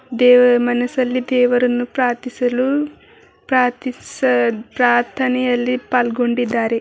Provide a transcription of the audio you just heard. ದೇವ ಮನಸಲ್ಲಿ ದೇವರನ್ನು ಪ್ರಾರ್ಥಿಸಲು ಪ್ರಾರ್ಥಿಸ- ಪ್ರಾರ್ಥನೆಯಲ್ಲಿ ಪಾಲ್ಗೊಂಡಿದ್ದಾರೆ.